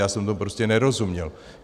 Já jsem tomu prostě nerozuměl.